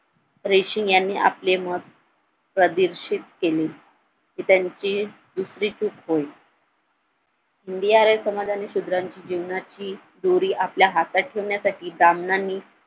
रेशीम यांनी आपले मत प्रादेर्शित केले हि त्यांची दुसरी चूक होय हिंदी आर्य समाजाने शूद्रांची जीवनाची दोरी आपल्या हातात ठेवण्यासाठी ब्राम्हणाने